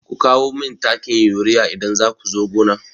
Ku kawo min takin urea idan za ku zo gona!